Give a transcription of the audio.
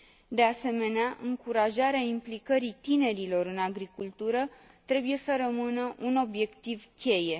De asemenea, încurajarea implicării tinerilor în agricultură trebuie să rămână un obiectiv cheie.